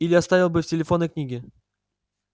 или оставил бы в телефонной книге